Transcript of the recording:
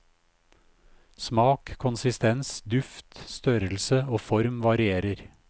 Smak, konsistens, duft, størrelse og form varierer.